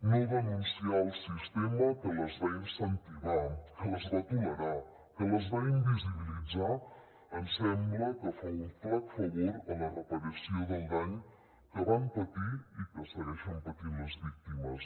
no denunciar el sistema que les va incentivar que les va tolerar que les va visibilitzar ens sembla que fa un flac favor a la reparació del dany que van patir i que segueixen patint les víctimes